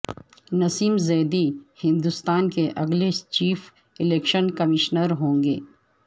نسیم زیدی ہندوستان کے اگلے chief election commissioner ہوں گے